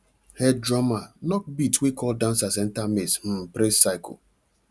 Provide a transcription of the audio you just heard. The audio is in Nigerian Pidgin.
head drummer knock beat wey call dancers enter maize um praise circle